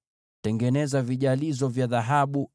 Tengeneza vijalizo vya dhahabu